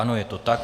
Ano, je to tak.